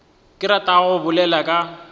ke ratago go bolela ka